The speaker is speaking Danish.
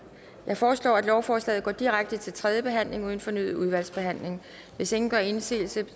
jeg foreslår at lovforslaget går direkte til tredje behandling uden fornyet udvalgsbehandling hvis ingen gør indsigelse